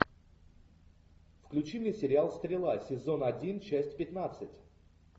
включи мне сериал стрела сезон один часть пятнадцать